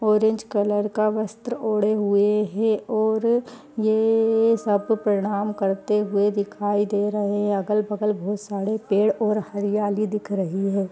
Orange colour का वस्त्र ओढ़े हुए हैं और ये सब पे प्रणाम करते हुए दिखाई दे रहे हैं अगल-बगल बहुत सारे पेड़ और हरियाली दिख रही है।